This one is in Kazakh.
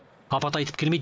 апат айтып келмейді